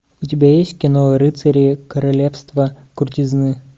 у тебя есть кино рыцари королевства крутизны